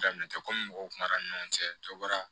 Daminɛ tɛ komi mɔgɔw kuma na ni ɲɔgɔn cɛ bɔra